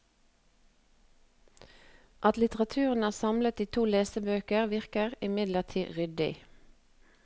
At litteraturen er samlet i to lesebøker, virker imidlertid ryddig.